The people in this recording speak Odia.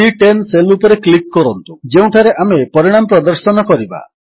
ସି10 ସେଲ୍ ଉପରେ କ୍ଲିକ୍ କରନ୍ତୁ ଯେଉଁଠାରେ ଆମେ ପରିଣାମ ପ୍ରଦର୍ଶନ କରିବା